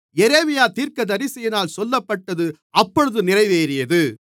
எரேமியா தீர்க்கதரிசியினால் சொல்லப்பட்டது அப்பொழுது நிறைவேறியது